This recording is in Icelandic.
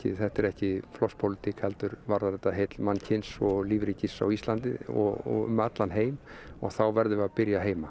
þetta er ekki flokkspólitík heldur varðar þetta heill mannsins og lífríkis á Íslandi og um allan heim og þá verðum við að byrja heima